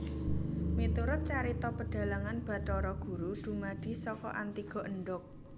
Miturut carita pedhalangan Bathara Guru dumadi saka antiga endhog